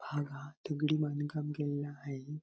हा भाग दगडी बांधकाम केलेला आहे.